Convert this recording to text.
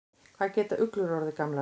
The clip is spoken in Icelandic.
Hvað geta uglur orðið gamlar?